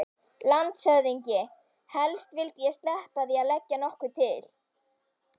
LANDSHÖFÐINGI: Helst vildi ég sleppa því að leggja nokkuð til.